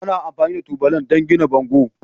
Ana amfani da tubalan don gina bango.